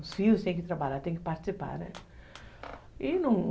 Os filhos têm que trabalhar, têm que participar, né? E, num